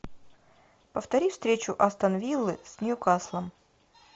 повтори встречу астон виллы с ньюкаслом